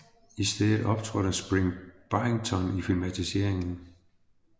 I stedet optrådte Spring Byington i filmatiserigen